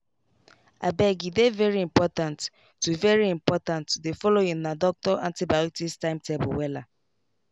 abege dey very important to very important to dey follow una doctor antibiotics timetable wella.